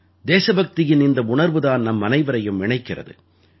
தேசபக்தியின் இந்த உணர்வு தான் நம்மனைவரையும் இணைக்கிறது